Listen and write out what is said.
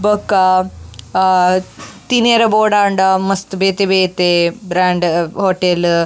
ಬೊಕ ಅಹ್ ತಿನರೆ ಬೋಡಾಂಡ ಮಸ್ತ್ ಬೇತೆ ಬೇತೆ ಬ್ರ್ಯಾಂಡ್ ಹೊಟೇಲ್ --